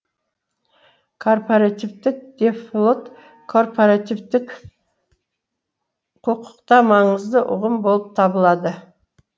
корпаративтік дефлот корпоративтік құқықта маңызды ұғым болып табылады